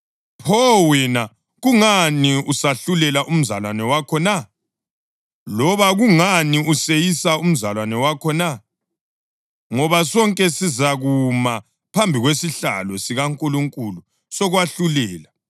Pho wena, kungani usahlulela umzalwane wakho na? Loba kungani useyisa umzalwane wakho na? Ngoba sonke sizakuma phambi kwesihlalo sikaNkulunkulu sokwahlulela.